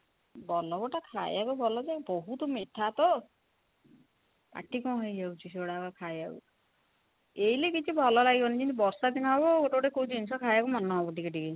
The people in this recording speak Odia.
ବଲ୍ଲଭ ଟା ଖାଇବାକୁ ଭଲ ଯେ ବହୁତ ମିଠା ତ ପାଟି କଣ ହେଇଯାଉଚି ସେଗୁଡା ଖାଇବାକୁ ଏଇନେ କିଛି ଭଲ ଲାଗିବନି ଯେମିତି ବର୍ଷା ଦିନ ହବ ଗୋଟେ ଗୋଟେ କୋଉ ଜିନିଷ ଖାଇବାକୁ ମନ ହବ ଟିକେ ଟିକେ